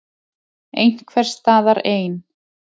Einhvers staðar ein.